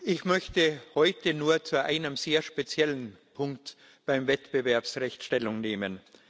Ich möchte heute nur zu einem sehr speziellen Punkt beim Wettbewerbsrecht Stellung nehmen.